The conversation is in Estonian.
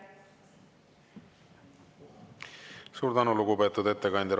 Suur tänu, lugupeetud ettekandja!